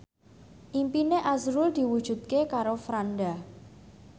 impine azrul diwujudke karo Franda